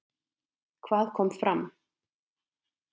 Hvað kom fram?